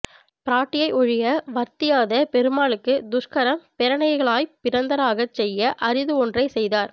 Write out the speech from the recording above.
பிராட்டியை ஒழிய வர்த்தியாத பெருமாளுக்கு துஷ்கரம் பிரணயிகளாய்ப் பிறந்தாராகச் செய்ய அரிது ஒன்றைச் செய்தார்